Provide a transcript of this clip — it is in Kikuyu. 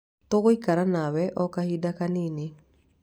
Tũgũikara nawe o kahinda kanini.